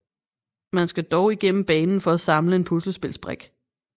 Man skal dog igennem banen for at samle en puslespils brik